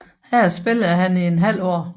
Her spillede han i et halvt år